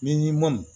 Ni ma mɔn